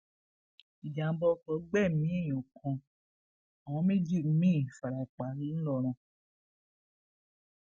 ìjàḿbá oko gbẹmí èèyàn kan àwọn méjì mìín fara pa ńlọrọn